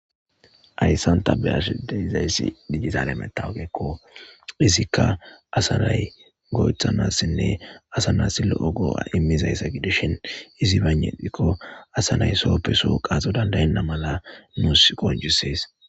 Ayssanta be ashdizayssi dijisale metawogekko izikka asanay goythanassinne asanas lo'o goo'a immizayssa gidishin izi baynetikko asanay sooppeso qaaxo dandayenna mala nuus qojusees.